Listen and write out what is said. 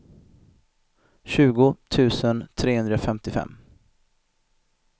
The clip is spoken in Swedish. tjugo tusen trehundrafemtiofem